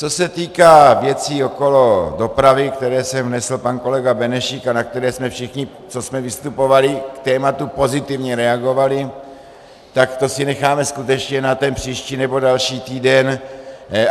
Co se týká věcí okolo dopravy, které sem vnesl pan kolega Benešík a na které jsme všichni, co jsme vystupovali, k tématu pozitivně reagovali, tak to si necháme skutečně na ten příští nebo další týden.